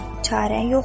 Çarə yoxdur.